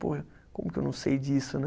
Pô, como que eu não sei disso, né?